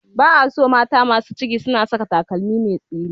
Ba a so mata masu ciki suna saka takalmi mai tsini.